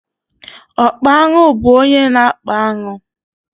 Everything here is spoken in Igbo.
Ọkpa aṅụ bú ónyé na-akpa aṅụ.